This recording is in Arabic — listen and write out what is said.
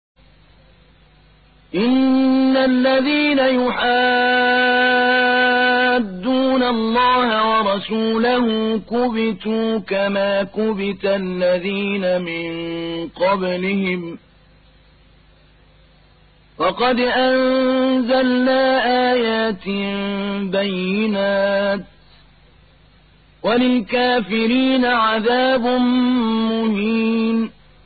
إِنَّ الَّذِينَ يُحَادُّونَ اللَّهَ وَرَسُولَهُ كُبِتُوا كَمَا كُبِتَ الَّذِينَ مِن قَبْلِهِمْ ۚ وَقَدْ أَنزَلْنَا آيَاتٍ بَيِّنَاتٍ ۚ وَلِلْكَافِرِينَ عَذَابٌ مُّهِينٌ